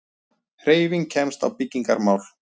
Hreyfing kemst á byggingarmál.